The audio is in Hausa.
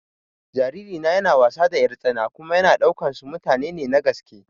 Jariri na yana wasa da 'yartsana kuma yana ɗaukan su mutane ne na gaske.